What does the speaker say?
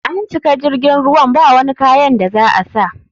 An cika jirgin ruwan bawani kayan da za a sa.